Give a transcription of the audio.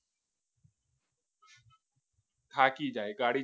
થાકી જાય ગાડી